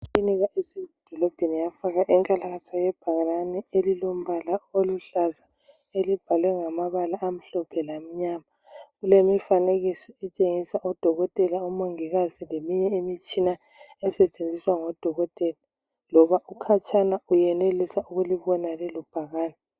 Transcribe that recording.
Ikilinika esedolobheni yafaka inkalakatha yebhakane elilombala oluhlaza elibhalwe ngamabala amhlophe lamnyama. Kulemifanekiso etshengisa odokotela, omongikazi leminye imitshina esetshenziswa ngodokotela. Loba ukhatshana uyenelisa ukulibona lelobhakane.